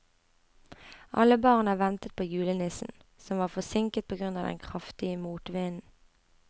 Alle barna ventet på julenissen, som var forsinket på grunn av den kraftige motvinden.